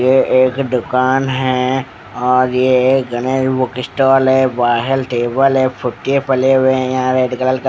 ये एक दुकान है और ये गणेश बुक स्टॉल है बाहर टेबल है फुट्टे पले हुए यहां रेड कलर --